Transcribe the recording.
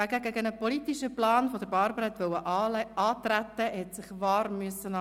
Wer gegen einen politischen Plan von Barbara antreten wollte, musste sich warm anziehen.